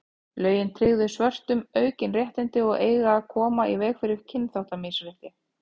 lögin tryggðu svörtum aukin réttindi og eiga að koma í veg fyrir kynþáttamisrétti